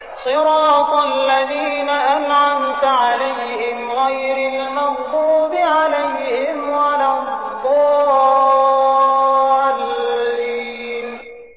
صِرَاطَ الَّذِينَ أَنْعَمْتَ عَلَيْهِمْ غَيْرِ الْمَغْضُوبِ عَلَيْهِمْ وَلَا الضَّالِّينَ